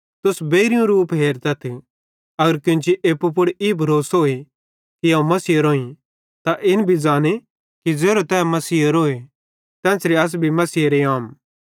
तुस बेइरयूं रूप हेरतथ अगर केन्ची एप्पू पुड़ ई भरोसे कि अवं मसीहेरोईं तै इन भी ज़ाने कि ज़ेरो तै मसीहेरोए तेन्च़रे अस भी मसीहेरेम आम